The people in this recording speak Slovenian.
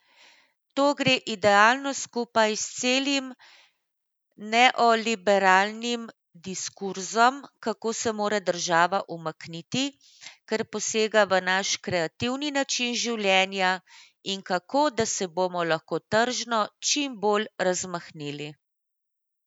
To gre idealno skupaj s celim neoliberalnim diskurzom, kako se mora država umakniti, ker posega v naš kreativni način življenja, in kako da se bomo lahko tržno čim bolj razmahnili.